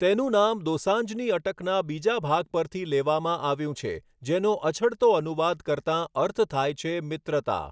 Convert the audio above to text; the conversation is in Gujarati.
તેનું નામ દોસાંઝની અટકના બીજા ભાગ પરથી લેવામાં આવ્યું છે, જેનો અછડતો અનુવાદ કરતાં અર્થ થાય છે મિત્રતા.